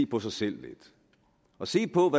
på sig selv og se på